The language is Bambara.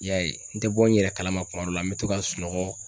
I y'a ye, n tɛ bɔ n yɛrɛ kalama kuma dɔ la, n bɛ to ka sunɔgɔ